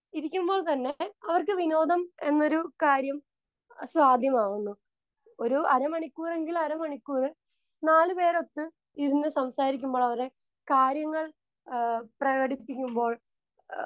Speaker 2 ഇരിക്കുമ്പോൾ തന്നെ അവർക്ക് വിനോദം എന്നൊരു കാര്യം സാധ്യമാവുന്നു. ഒരു അര മണിക്കൂർ എങ്കിൽ അര മണിക്കൂർ നാലു പേരൊത്ത് ഇരുന്നു സംസാരിക്കുമ്പോൾ അവര് കാര്യങ്ങൾ പ്രകടിപ്പിക്കുമ്പോൾ